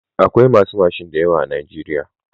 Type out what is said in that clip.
Akwai masu mashin da yawa a najeriya.